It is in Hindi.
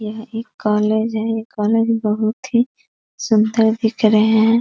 यह एक कॉलेज है कॉलेज बहुत ही सुंदर दिख रहे हैं।